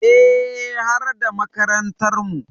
Eh, har da makarantarmu.